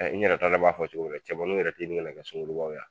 N yɛrɛ t'a dɔn , n b'a fɔ cogo min na cɛmanniw yɛrɛ t'i ɲini ka kɛ sungurubaw ye wa ?